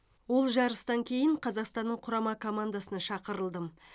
ол жарыстан кейін қазақстанның құрама командасына шақырылдым